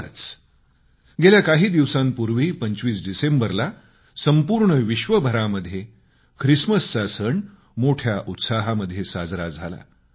आत्ताच काही दिवसांपूर्वी 25 डिसेंबरला संपूर्ण विश्वभरामध्ये ख्रिसमसचा सण मोठ्या उत्साहामध्ये साजरा झाला